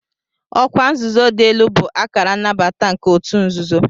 Ọkwa nzuzo dị elu bụ akara nnabata nke ọtu nzuzo.